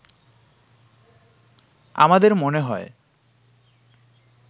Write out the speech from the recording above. আমাদের মনে হয়